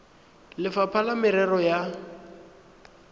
le lefapha la merero ya